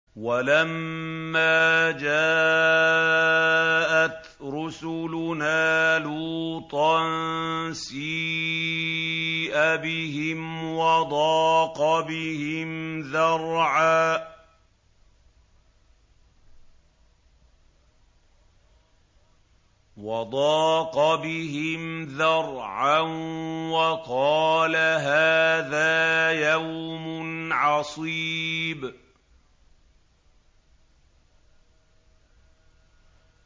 وَلَمَّا جَاءَتْ رُسُلُنَا لُوطًا سِيءَ بِهِمْ وَضَاقَ بِهِمْ ذَرْعًا وَقَالَ هَٰذَا يَوْمٌ عَصِيبٌ